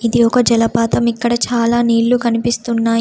ఇది ఒక జలపాతం ఇక్కడ చాలా నీళ్లు కనిపిస్తున్నాయి.